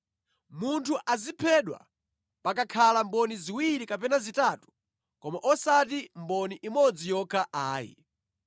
Munthu aziphedwa pakakhala mboni ziwiri kapena zitatu koma osati mboni imodzi yokha ayi.